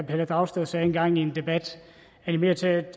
pelle dragsted sagde engang i en debat animere til at